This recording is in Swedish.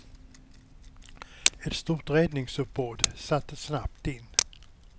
Ett stort räddningsuppbåd sattes snabbt in.